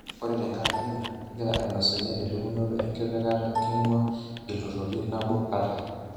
Ore tenkaraki ina, kingira ainosunye elimunoto enkipangata kingua ltururi nabo kata.